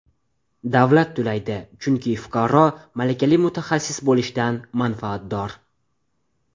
Davlat to‘laydi, chunki fuqaro malakali mutaxassis bo‘lishidan manfaatdor.